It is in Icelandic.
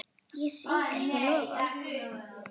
Ég svík ekki loforð.